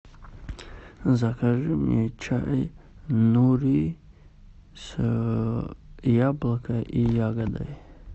закажи мне чай нури с яблоко и ягодой